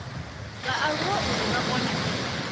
vhaaluwa uri vha kone u